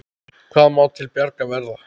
Hvað má til bjargar verða?